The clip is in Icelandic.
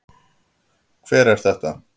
Hver er þetta?